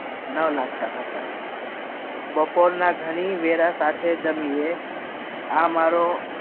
ન લગતા હતા બપોરના ઘણી વેડા સાથે જમીને આ મારો